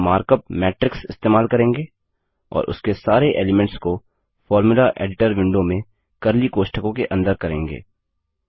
हम markup matrix इस्तेमाल करेंगे और उसके सारे एलीमेंट्स को फोर्मुला एडिटर विंडो में कर्ली कोष्ठकों के अंदर करेंगे